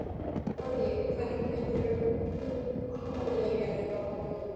Logi: Hvernig meturðu möguleikana hjá honum?